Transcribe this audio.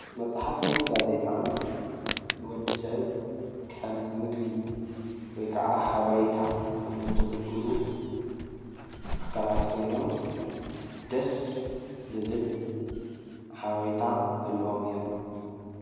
መፃሓፍትን ጋዜጣን ንወዲ ሰብ ከም ምገቢ ወይ ከዓ ሓበሬታ ኮይኖሞ ዘግልግሉ ኣካላት ኮይኖሞ ደስ ዝብል ሓበርታ ዘሎዎም እዮሞ፡፡